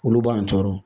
Olu b'an tɔɔrɔ